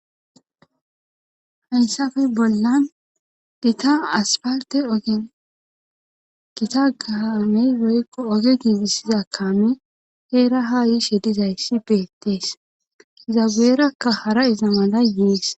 Haynsafe bollan gita asparte oge gita gaamey roykko oge giigissiza kame heera haa yishe dizayssi beettees izabeerakka hara iza mala yiis.